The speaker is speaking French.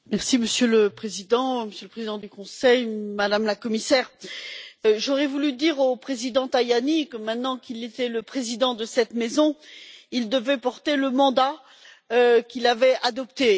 Monsieur le Président, Monsieur le Président du Conseil, Madame la Commissaire, j'aurais voulu dire au Président Tajani que maintenant qu'il était le président de cette maison, il devait porter le mandat qu'il avait adopté.